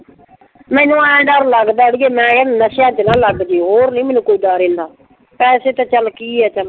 ਮੈਨੂੰ ਆਏਂ ਡਰ ਲੱਗਦਾ ਅੜੀਏ , ਨਸ਼ਿਆਂ ਚ ਨਾ ਲੱਗ ਜਏ। ਹੋਰ ਨਈਂ ਮੈਨੂੰ ਕੋਈ ਡਰ ਐਨਾ। ਪੈਸੇ ਤਾਂ ਚੱਲ ਕੀ ਆ ਚੱਲ।